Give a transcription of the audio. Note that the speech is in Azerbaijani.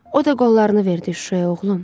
O da qollarını verdi Şuşaya, oğlum.